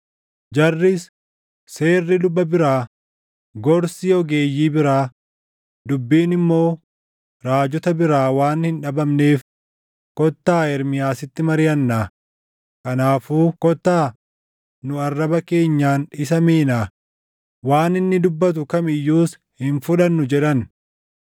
“Jarris, ‘Seerri luba biraa, gorsi ogeeyyii biraa, dubbiin immoo raajota biraa waan hin dhabamneef kottaa Ermiyaasitti mariʼannaa; kanaafuu kottaa nu arraba keenyaan isa miinaa; waan inni dubbatu kam iyyuus hin fudhannu’ ” jedhan.